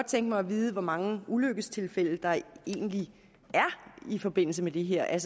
tænke mig at vide hvor mange ulykkestilfælde der egentlig er i forbindelse med det her er